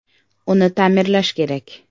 Uni ta’mirlash kerak.